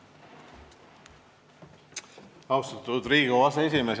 Austatud Riigikogu aseesimees!